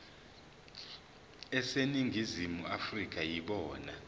aseningizimu afrika yibona